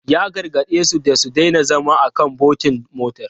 Ya gargade su da su daina zama a kan bontin motar.